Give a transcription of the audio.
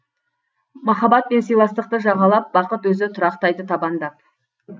махаббат пен сыйластықты жағалап бақыт өзі тұрақтайды табандап